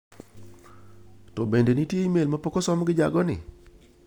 To bende nitie imel ma pok osom gi jago ni?